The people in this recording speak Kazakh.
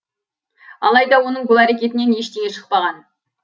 алайда оның бұл әрекетінен ештеңе шықпаған